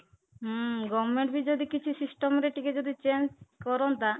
ହୁଁ government ବି ଯଦି କିଛି system ରେ ଟିକେ ଯଦି change କରନ୍ତା